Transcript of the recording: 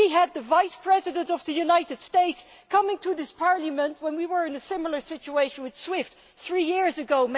We had the Vice President of the United States in this Parliament when we were in a similar situation with Swift three years ago.